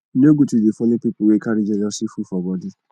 e no good to dey folo pipu wey carry jealousy full for bodi